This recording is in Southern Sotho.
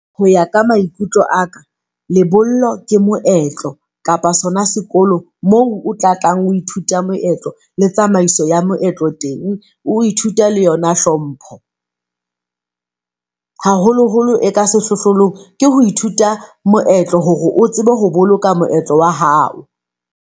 Ho ya ka maikutlo a ka lebollo ke moetlo kapa sona sekolo, moo o tla tlang. Ho ithuta moetlo le tsamaiso ya moetlo teng. Oi thuta le yona hlompho haholoholo e ka sehlohlolong ke ho ithuta moetlo hore o tsebe ho boloka moetlo wa hao.